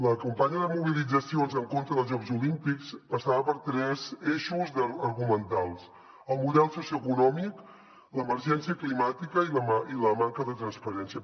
la campanya de mobilitzacions en contra dels jocs olímpics passava per tres eixos argumentals el model socioeconòmic l’emergència climàtica i la manca de transparència